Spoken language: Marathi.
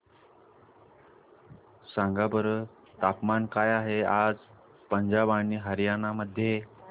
सांगा बरं तापमान काय आहे आज पंजाब आणि हरयाणा मध्ये